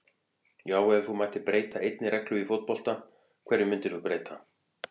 Já Ef þú mættir breyta einni reglu í fótbolta, hverju myndir þú breyta?